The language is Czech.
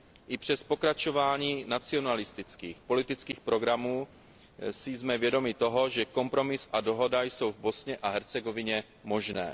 I přes pokračování nacionalistických politických programů si jsme vědomi toho, že kompromis a dohoda jsou v Bosně a Hercegovině možné.